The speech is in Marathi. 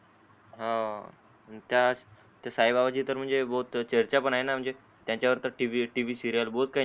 हम्म त्यात साई बाबाची तर म्हणजे बोत चर्चा पण आहे म्हणजे त्यांच्या वर टीव्ही सीरिअल बोत काही